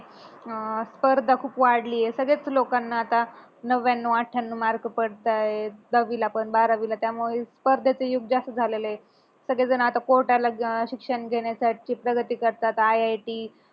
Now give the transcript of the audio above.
अह स्पर्धा खूप वाढली आहे सगळ्याच लोकांना आता नव्व्याण्णव, अठ्ठ्याण्णव मार्क पडतायत दहावीला पण बारावीला त्यामुळे स्पर्धाच युग जास्त झालेलय सगळे जण आता कोटा शिक्षण घेण्यासाठी प्रगती करतात आय, आय, टी